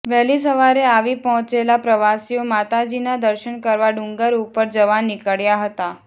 વહેલી સવારે આવી પહોંચેલા પ્રવાસીઓ માતાજીના દર્શન કરવા ડુંગર ઉપર જવા નીકળ્યા હતા